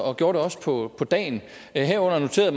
og gjorde det også på dagen herunder noterede